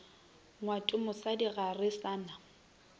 ngwatomosadi ga re sa na